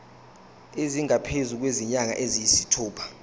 esingaphezu kwezinyanga eziyisithupha